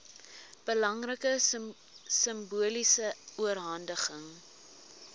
belangrike simboliese oorhandiging